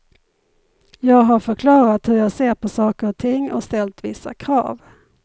Jag har förklarat hur jag ser på saker och ting och ställt vissa krav.